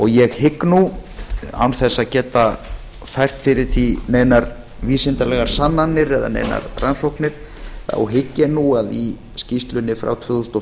ég hygg nú án þess að geta fært fyrir því neinar vísindalegar sannanir eða neinar rannsóknir þá hygg ég nú að í skýrslunni frá tvö þúsund og